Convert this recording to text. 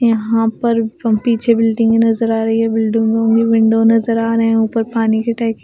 यहां पर पीछे बिल्डिंग नजर आ रही है बिल्डिंग में विंडो नजर आ रहे हैं ऊपर पानी की टंकी--